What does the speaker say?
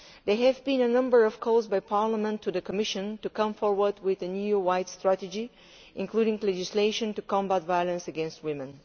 There have been a number of calls by Parliament to the Commission to come forward with an EU wide strategy including legislation to combat violence against women.